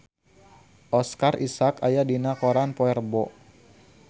Oscar Isaac aya dina koran poe Rebo